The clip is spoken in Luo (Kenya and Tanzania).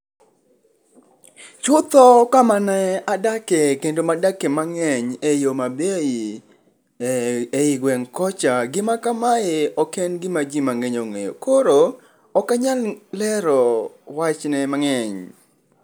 Chutho kamane adake kendo ma adake mangeny ei Homabay ei gweng kocha, gia kamae oken gima jii mangeny ongeo koro ok anyal lero wachne mangeny